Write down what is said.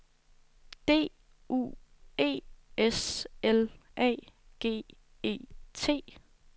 D U E S L A G E T